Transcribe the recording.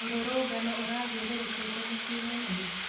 Mũrũrũngano ũrathiũrũrũkĩte mũciĩ mũnene?